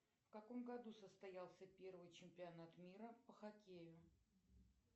в каком году состоялся первый чемпионат мира по хоккею